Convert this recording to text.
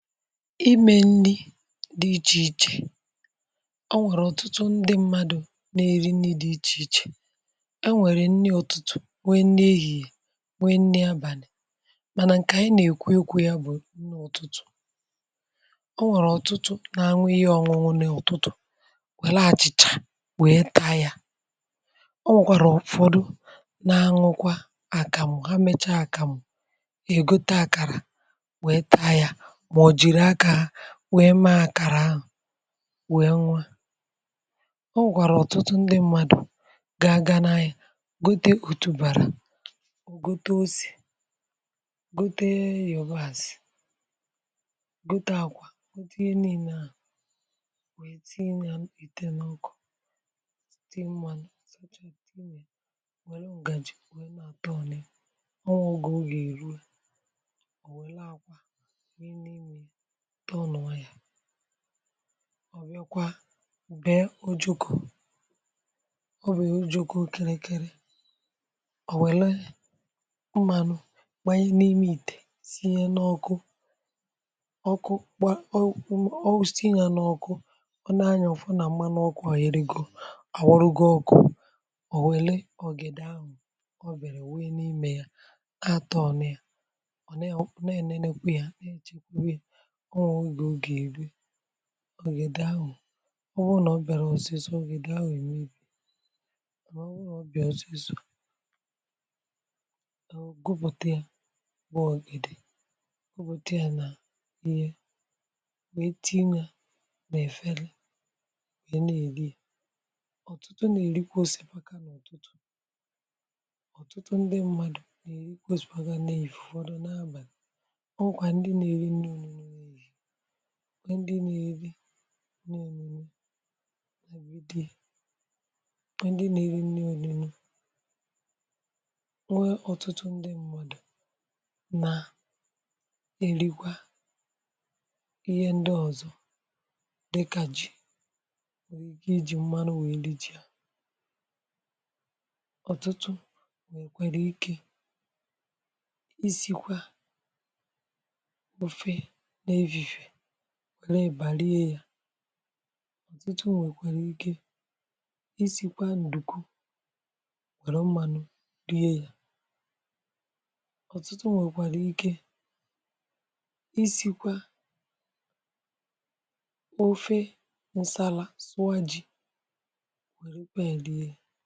imė nni dị ichè ichè ọ nwèrè ọ̀tụtụ ndị mmadụ̀ na-eri nni̇ dị ichè ichè e nwèrè nni utụtụ̀ nwe nni ehìhie nwe nni abànị̀ mànà ǹkè ànyị na-èkwu okwu ya bụ̀ nni utụtụ̀ ọ nwèrè ọ̀tụtụ na-aṅụ ihe ọ̀ṅụṅụ n’ọ̀tụtụ̀ wèla achị̀chà wèe taa yȧ ọ nwekwàrà ufọdụ na-aṅụkwa àkàmụ̀ ha mecha àkàmụ̀ ègote àkàrà wee taa ya maobu jiri aka ha wee mee àkàrà ahụ̀ wee ṅụa ọ nwekwàrà ọ̀tụtụ ndị mmadụ̀ ga aga n’ahia gote otubàrà o gote ose gote yòbas gote àkwa gote ihe nine a nwee tinye à nà-ètè n’ọkụ tinye mmȧnụ̀ wère ǹgàjì wee n’àtọnu ya onwe oge ọ ga erue o welu akwa tinye n'ime ya tonuo ya, ọ bịakwa bee ojukù ọ bụ̀ o jukù kịrịkịrị ọ̀ wèle mmànụ̀ gbànye n’ime ìtè sinye n’ọkụ ọkụ gbàa ọ tinye ya n’ọkụ ọ nȧ anya ọ̀fụ nà mmanụ ọkụ̇ à eyebego ọ̀ wụlụgo ọkụ̇ ọ̀ wèle ọgèdè ahụ̀ o bere wunye n’imè ya atọnu ya ọ nà ọ̀ nà ènene kwa yà na echekwawa ya, onwe oge ọga erue ọgède ahụ̀ ọ bụrụ nà ọ bịàro ọsịsọ ogede ahu emebie mana obu na o bia osiso gupùte ya bụ ọ̀gèdè gupùte ya nà ihe wee tinye ya nà-èfele wee n'eri ọ̀tụtụ nà-èrikwa osìpaka n’utụtụ ọ̀tụtụ ndị mmadù na-èrikwa osìpaka na-èfifie ufodu n’abàlì onwekwa ndị na-eri nri onuno n'efifie nwe ndi n'eri nri onuno nwe ọ̀tụtụ ndị mmadụ̀ nà erikwa ihe ndị ọzọ̀ dịkà ji ike iji mmanụ wèe ri ji à ọ̀tụtụ nwèkwara ike isikwa ofe n'efifie were ebà rie yȧ ọ̀tụtụ nwèkwàrà ike isìkwa ǹdùku wèrè mmȧnụ̇ rie yȧ ọ̀tụtụ nwèkwàrà ike isìkwa ofe nsàla sụa ji wèrèkwa ya rie ya.